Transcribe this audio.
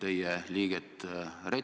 Aitäh!